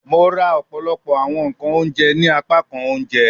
Mo ra ọpọlọpọ awọn nkan ounjẹ ni apakan ounjẹ